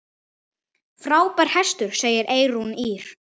Frábær hestur, segir Eyrún Ýr.